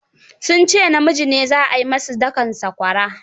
Sun ce namiji ne zaai mussu dakan sakwarar.